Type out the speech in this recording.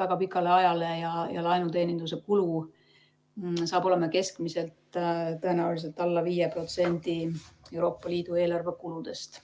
väga pikale ajale ja laenu teenindamise kulu saab olema keskmiselt tõenäoliselt alla 5% Euroopa Liidu eelarvekuludest.